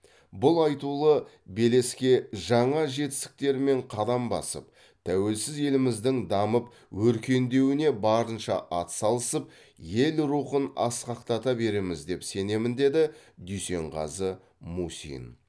бұл айтулы белеске жаңа жетістіктермен қадам басып тәуелсіз еліміздің дамып өркендеуіне барынша атсалысып ел рухын асқақтата береміз деп сенемін деді дүйсенғазы мусин